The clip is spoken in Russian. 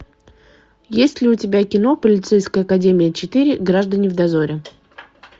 есть ли у тебя кино полицейская академия четыре граждане в дозоре